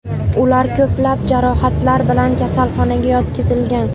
Ular ko‘plab jarohatlar bilan kasalxonaga yotqizilgan.